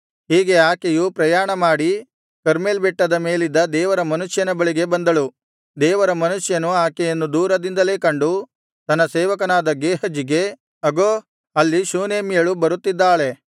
ಹೀಗೆ ಆಕೆಯು ಪ್ರಯಾಣ ಮಾಡಿ ಕರ್ಮೆಲ್ ಬೆಟ್ಟದ ಮೇಲಿದ್ದ ದೇವರ ಮನುಷ್ಯನ ಬಳಿಗೆ ಬಂದಳು ದೇವರ ಮನುಷ್ಯನು ಆಕೆಯನ್ನು ದೂರದಿಂದಲೇ ಕಂಡು ತನ್ನ ಸೇವಕನಾದ ಗೇಹಜಿಗೆ ಅಗೋ ಅಲ್ಲಿ ಶೂನೇಮ್ಯಳು ಬರುತ್ತಿದ್ದಾಳೆ